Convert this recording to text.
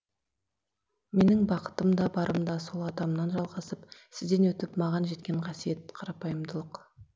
менің бақытым да барым да сол атамнан жалғасып сізден өтіп маған жеткен қасиет қарапайымдылық